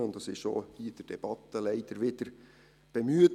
es wurde leider auch hier in der Debatte wieder bemüht.